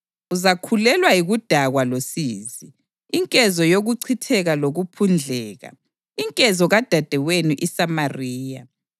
Uzakhulelwa yikudakwa losizi, inkezo yokuchitheka lokuphundleka, inkezo kadadewenu iSamariya.